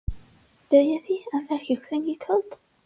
Viljiði elda kjúkling í kvöld?